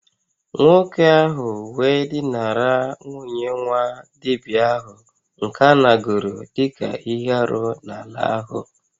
Nwoke ahu we dinara nwunye nwa-dibia ahu nke anāguru dika ihe-árú n'ala ahu